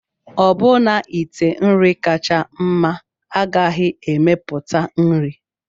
Ọbụna ite nri kacha mma agaghị emepụta nri.